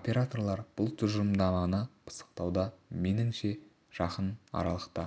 операторлар бұл тұжырымдаманы пысықтауда меніңше жақын аралықта